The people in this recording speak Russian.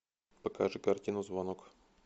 покажи картину звонок